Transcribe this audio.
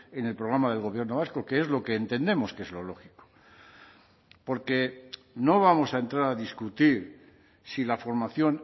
en el programa del gobierno vasco que es lo que entendemos que es lo lógico porque no vamos a entrar a discutir si la formación